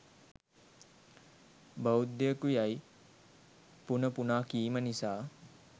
‘බෞධයකු’ යයි පුන පුනා කීම නිසා